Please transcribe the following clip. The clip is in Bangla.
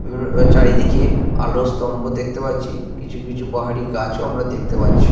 এবং চারিদিকে আলো স্তম্ভ দেখতে পাচ্ছি। কিছু কিছু বাহারি গাছ ও আমরা দেখতে পাচ্ছি।